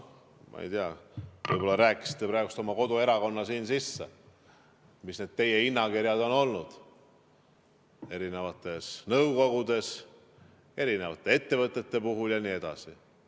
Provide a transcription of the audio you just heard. Ma ei tea, võib-olla rääkisite praegu oma koduerakonna sisse, mis need teie hinnakirjad on olnud eri nõukogude, eri ettevõtete puhul jne.